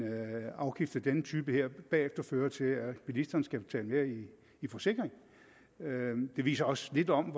afgift af denne type bagefter fører til at bilisterne skal betale mere i forsikring det viser også lidt om